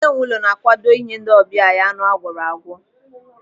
Onye nwe ụlọ na-akwado inye ndị ọbịa ya anụ agwọrọ agwọ.